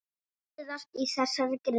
Sjá síðar í þessari grein.